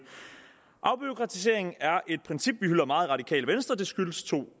afbureaukratisering er et princip vi hylder meget i radikale venstre det skyldes to